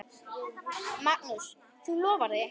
Magnús: Þú lofar því?